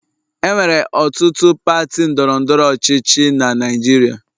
Enwere ọtụtụ pati ndọrọ ndọrọ ọchịchị na Naịjirịa